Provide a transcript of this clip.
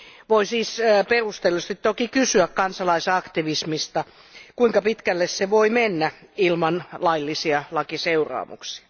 Voi siis perustellusti toki kysyä kansalaisaktivismista, kuinka pitkälle se voi mennä ilman laillisia lakiseuraamuksia.